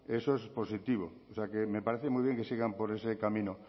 eso es positivo o sea que me parece muy bien que sigan por ese camino